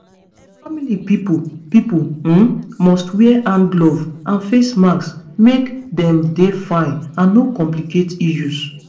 family pipo pipo um must wear hand gloves and face masks make dem dey fine and no complicate issues